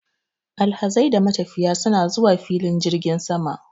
Alhazai da matafiya suna zuwa filin jirgin sama.